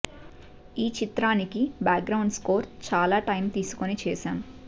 ఈ చిత్రానికి background score చాలా టైం తీసుకొని చేసాం